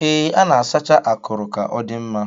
Ee, a na-asacha akuru ka ọ dị mma.